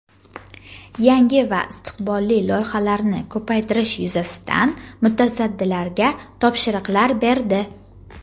yangi va istiqbolli loyihalarni ko‘paytirish yuzasidan mutasaddilarga topshiriqlar berdi.